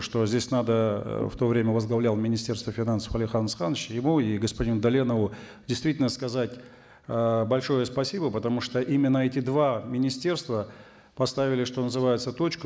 что здесь надо э в то время возглавлял министерство финансов алихан асханович его и господину даленову действительно сказать э большое спасибо потому что именно эти два министерства поставили что называется точку